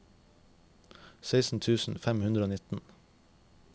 seksten tusen fem hundre og nitten